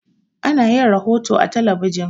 Ana yin rohoto a talabijin.